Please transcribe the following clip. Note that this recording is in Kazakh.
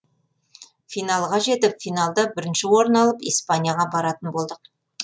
финалға жетіп финалда бірінші орын алып испанияға баратын болдық